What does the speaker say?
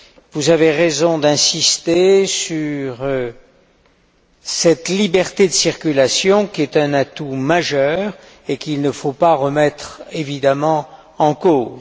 Vous avez raison d'insister sur cette liberté de circulation, qui est un atout majeur et qu'il ne faut évidemment pas remettre en cause.